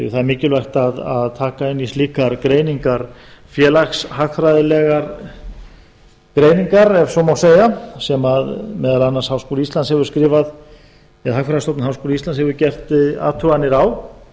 það er mikilvægt að taka inn í slíkar greiningar félagshagfræðilegar greiningar ef svo má segja sem meðal annars hagfræðistofnun háskóla íslands hefur gert athuganir á